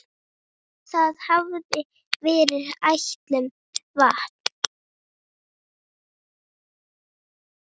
Það þurfti kjark til.